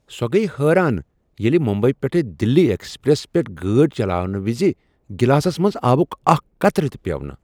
سۄ گٔیۍ حٲران ییٚلہ ممبئی پیٹھ دہلی ایکسپریس پیٹھ گٲڑۍ چلاونہٕ وِزِ گلاسس منٛز آبک اکھ قطرٕ تِہ پیوٚو نہٕ